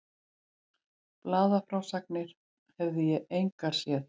Blaðafrásagnir hefði ég engar séð.